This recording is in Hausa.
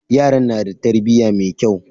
Yaran na da tarbiya mai kyau.